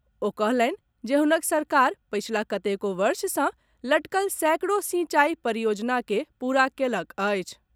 ओ कहलनि जे हुनक सरकार पछिला कतेको वर्ष सऽ लटकल सैकड़ो सिंचाई परियोजना के पूरा कयलक अछि।